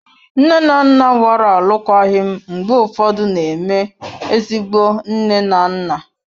Nne na nna gbara alụkwaghịm mgbe ụfọdụ na-eme ezigbo nne na nna.